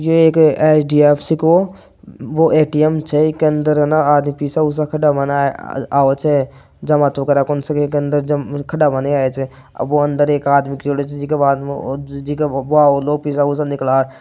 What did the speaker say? ये एक एच.डी.एफ.सी का वो ए.टी.एम छे के अंदर आना आदमी पैसा वैसा कड़ा मन आवच है --